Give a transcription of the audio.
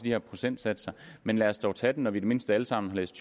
her procentsatser men lad os dog tage den når vi i det mindste alle sammen har læst